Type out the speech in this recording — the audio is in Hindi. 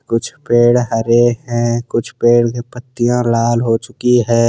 कुछ पेड़ हरे हैं कुछ पेड़ के पत्तियां लाल हो चुकी है।